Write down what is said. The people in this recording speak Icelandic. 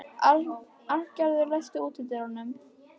Arngerður, læstu útidyrunum.